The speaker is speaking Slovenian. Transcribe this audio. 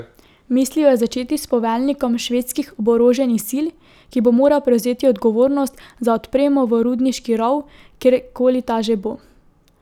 Mislil je začeti s poveljnikom švedskih oboroženih sil, ki bo moral prevzeti odgovornost za odpremo v rudniški rov, kjerkoli ta že bo.